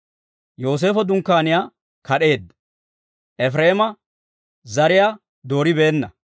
Yooseefo dunkkaaniyaa kad'eedda; Efireema zariyaa dooribeenna.